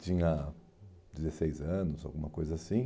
Tinha dezesseis anos, alguma coisa assim.